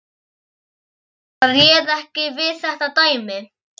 Hann bara réð ekki við þetta dæmi.